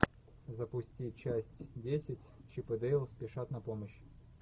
запусти часть десять чип и дейл спешат на помощь